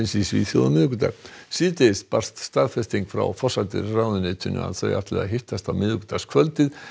í Svíþjóð á miðvikudag síðdegis barst staðfesting frá forsætisráðuneytinu að þau ætli að hittast á miðvikudagskvöld